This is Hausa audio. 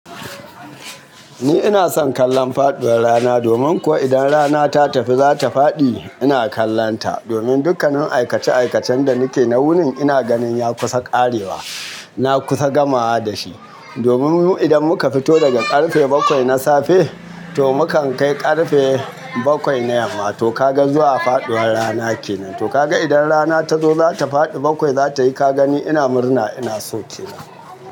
Ni ina son kallon faɗuwar rana, domin ko idan rana ta tafi za ta faɗi, ina kallonta domin dukkanin aikace-aikacen da nike na wunin ina ganin ya kusa ƙarewa. Na kusa gamawa da shi. Domin mu idan muka fito daga ƙarfe bakwai na safe to mukan kai ƙarfe bakwai na yamma. To ka ga zuwa faɗuwar rana kenan. To ka ga idan rana ta zo za ta faɗi bakwai za ta yi ka gani ina murna, ina so kenan.